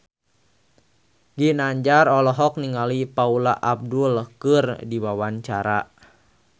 Ginanjar olohok ningali Paula Abdul keur diwawancara